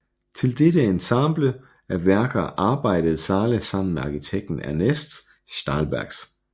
Til dette ensemble af værker arbejdede Zāle sammen med arkitekten Ernests Štālbergs